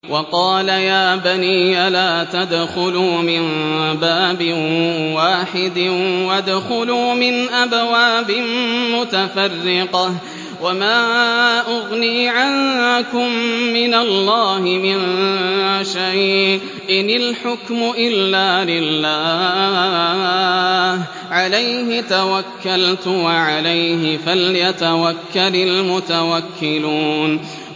وَقَالَ يَا بَنِيَّ لَا تَدْخُلُوا مِن بَابٍ وَاحِدٍ وَادْخُلُوا مِنْ أَبْوَابٍ مُّتَفَرِّقَةٍ ۖ وَمَا أُغْنِي عَنكُم مِّنَ اللَّهِ مِن شَيْءٍ ۖ إِنِ الْحُكْمُ إِلَّا لِلَّهِ ۖ عَلَيْهِ تَوَكَّلْتُ ۖ وَعَلَيْهِ فَلْيَتَوَكَّلِ الْمُتَوَكِّلُونَ